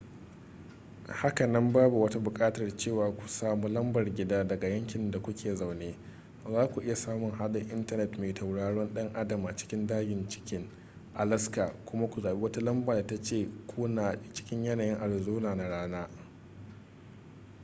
hakanan babu wata buƙatar cewa ku samu lambar gida daga yankin da ku ke zaune za ku iya samun haɗin intanet mai tauraron dan adam a cikin dajin chicken alaska kuma ku zaɓi wata lamba da ta ce kuna cikin yanayin arizona na rana